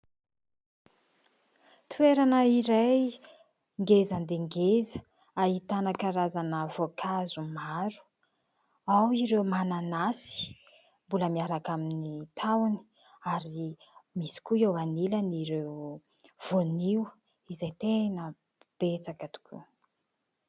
Toerana iray ngeza dia ngeza ahitana karazana voankazo maro : ao ireo mananasy mbola miaraka amin'ny tahony ary misy koa eo anilany ireo voanio izay tena betsaka tokoa.